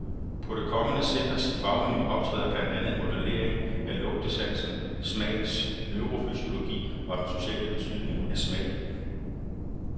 På det kommende centers fagmenu optræder blandt andet modellering af lugtesansen, smagens neurofysiologi, og den sociale betydning af smag.